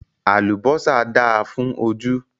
Àlùbọ́sà dáa fún ojú.